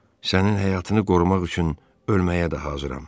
Sənin həyatını qorumaq üçün ölməyə də hazıram.